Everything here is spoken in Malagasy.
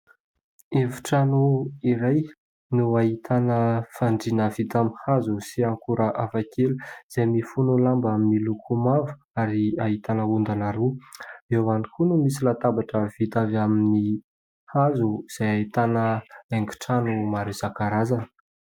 Efitrano iray no ahitana fandriana vita amin'ny hazo sy akora hafakely, izay mifono lamba miloko mavo ary ahitana ondana roa. Eo ihany koa misy latabatra vita avy amin'ny hazo, izay ahitana haingontrano maro isan-karazany.